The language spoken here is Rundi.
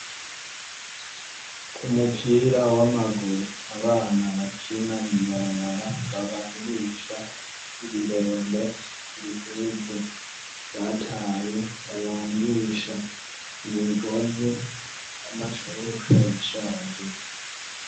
Umupira w'amagur' abana bakina babangish' ibirembe vy'impuzu zishaje, bakazitabagura mw'imigozi bagafat' amasashe menshi bakabizingazinga babohesha ya migozi batabagura k' umpuzu zishaje.